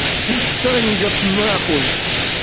пусть саня идёт нахуй